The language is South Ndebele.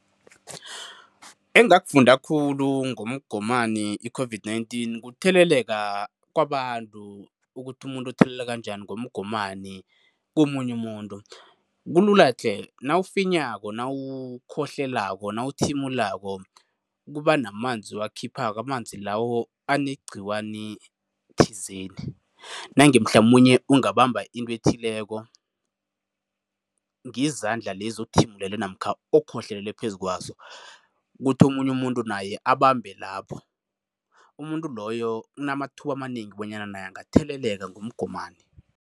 Engakufunda khulu ngomgomani i-COVID-19 kutheleleka kwabantu, ukuthi umuntu utheleleka njani ngomgomani komunye umuntu. Kulula tle, nawufinyako, nawukhohlelako, nawuthimulako kuba namanzi owakhiphako. Amanzi lawo anegcikwane thizeni. Nange mhlamunye ungabamba into ethileko ngezandla lezi othimulele namkha okhohlelele phezu kwazo, kuthi omunye umuntu naye abambe lapho, umuntu loyo unamathuba amanengi bonyana naye angatheleleka ngomgomani.